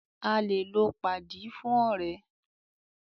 A lè lò padi fún ọ̀rẹ́.